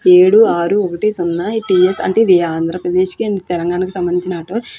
ఏడూ ఆరు ఒకటి సున ఎ.పి టి.ఎస్ అంటె ఇది అద్రప్రదేశ్ కి అండ్ తెలంగాణ కి సంబందించిన ఆటో .